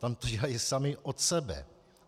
Tam to dělají sami od sebe.